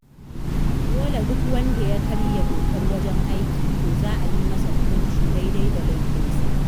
Duk wanda ya karya dokar wajen aiki, to za a yi masa hukunci daidai da laifinsa.